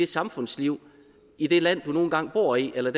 samfundslivet i det land du nu engang bor i eller